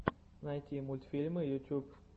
найти мультфильмы ютьюб